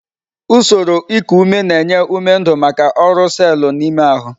Usoro iku ume na-enye ume ndu maka ọrụ selu n'ime ahụ.